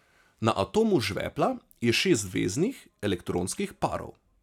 Na atomu žvepla je šest veznih elektronskih parov.